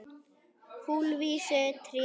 Kulvísu trén dóu út.